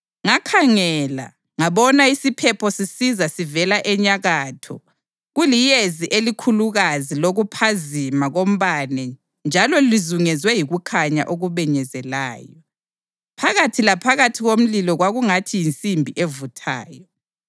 Ngakhangela, ngabona isiphepho sisiza sivela enyakatho, kuliyezi elikhulukazi lokuphazima kombane njalo lizungezwe yikukhanya okubenyezelayo. Phakathi laphakathi komlilo kwakungathi yinsimbi evuthayo,